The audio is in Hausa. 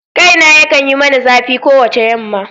Kaina yakan yi mani zafi kowace yamma.